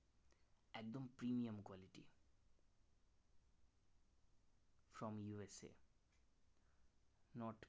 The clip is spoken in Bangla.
fromUSAnorth